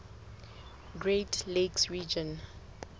great lakes region